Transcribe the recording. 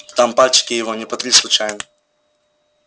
там пальчики его не потри случайно